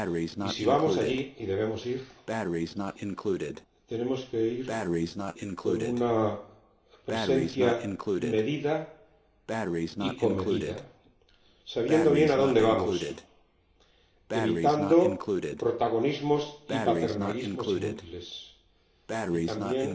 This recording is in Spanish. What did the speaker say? Y si vamos allí —y debemos ir—, tenemos que ir con una presencia medida y comedida, sabiendo bien adónde vamos, evitando protagonismos y paternalismos inútiles y, también,